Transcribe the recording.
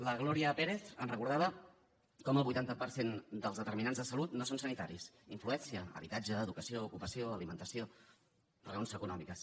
la gloria pérez ens recordava com el vuitanta per cent dels determinants de salut no són sanitaris hi influeixen habitatge educació ocupació alimentació raons econòmiques